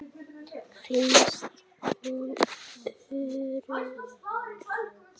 Finnst hún örugg.